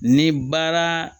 Ni baara